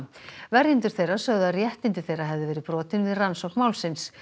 verjendur þeirra sögðu að réttindi þeirra hefðu verið brotin við rannsókn málsins